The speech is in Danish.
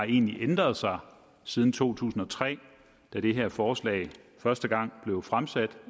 egentlig har ændret sig siden to tusind og tre da det her forslag første gang blev fremsat